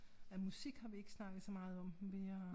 Ja musik har vi ikke snakket så meget om vi har